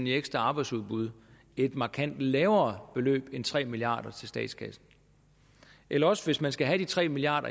i ekstra arbejdsudbud et markant lavere beløb end tre milliard kroner til statskassen eller også hvis man skal have de tre milliard